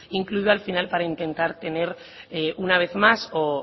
incluido al final para intentar tener una vez más o